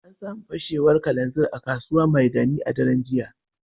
An samu fashewar kananzir a Kasuwa Maigani a daren jiya